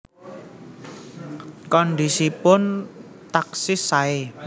Kondisipun taksih sae